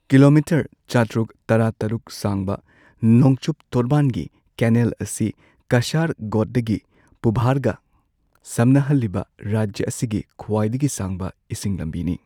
Kilometre ꯆꯥꯇ꯭ꯔꯨꯛ ꯇꯔꯥꯇꯔꯨꯛ ꯁꯥꯡꯕ ꯅꯣꯡꯆꯨꯞ ꯇꯣꯔꯕꯥꯟꯒꯤ ꯀꯦꯅꯦꯜ ꯑꯁꯤ ꯀꯁꯔꯥꯒꯣꯗꯗꯒꯤ ꯄꯨꯚꯥꯔꯒ ꯁꯝꯅꯍꯜꯂꯤꯕ ꯔꯥꯖ꯭ꯌ ꯑꯁꯤꯒꯤ ꯈ꯭ꯋꯥꯏꯗꯒꯤ ꯁꯥꯡꯕ ꯏꯁꯤꯡ ꯂꯝꯕꯤꯅꯤ꯫